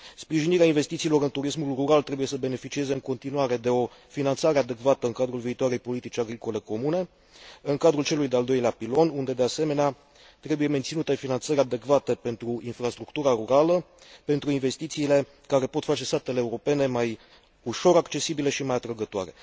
Sprijinirea investițiilor în turismul rural trebuie să beneficieze în continuare de o finanțarea adecvată în cadrul viitoarei politici agricole comune, în cadrul celui de al doilea pilon, unde, de asemenea, trebuie menținute finanțări adecvate pentru infrastructura rurală, pentru investițiile care pot face satele europene mai ușor accesibile și mai atrăgătoare.